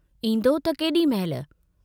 ईन्दो त केडी महिल?